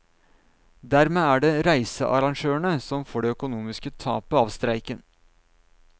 Dermed er det reisearrangørene som får det økonomiske tapet av streiken.